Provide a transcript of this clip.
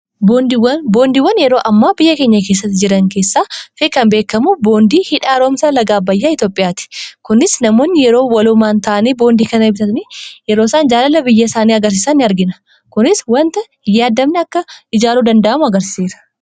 Boondiiwwan yeroo ammaa biyya keenya keessatti jiran keessaa kan beekamu boondii hidha haaromsa laga abbayyaa Itoophiyaati. Kunis namoonni yeroo walumaan ta'anii boondii kana bitanii yeroo isaan jaalala biyya isaanii agarsiisaan argina. Kunis waanta yaadamni akka ijaaruu danda'amu agarsiiseera.